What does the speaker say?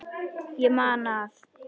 Ég man að